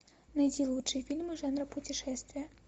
найти лучшие фильмы жанра путешествия